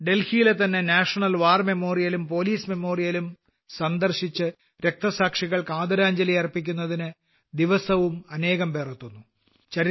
ഡൽഹിയിലെതന്നെ national war memorial ഉം police memorial ഉം സന്ദർശിച്ച് രക്തസാക്ഷികൾക്ക് ആദരാഞ്ജലികൾ അർപ്പിക്കുന്നതിന് ദിവസവും അനേകംപേർ എത്തുന്നു